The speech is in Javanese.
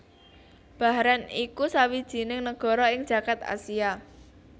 Bahren iku sawijining negara ing jagad Asia